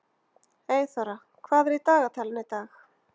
Eyþóra, hvað er í dagatalinu í dag?